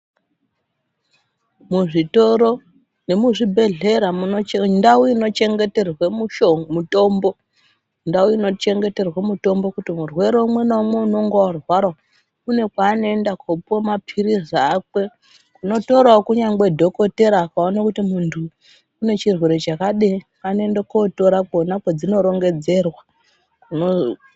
Muzvitoro nemuzvibhedhlera, munochenge mundau inochengeterwe misho mitombo. Ndau inochengeterwe mitombo kuti murwere umwe naumwe, unonga arwara, kune kwaanoenda kopuwe maphirizi akwe, kunotorawo dhokoteeya kuti akaone kuti muntu, une chirwere chakadini anoende kotora kwona kwedzinorongedzerwa kuno.....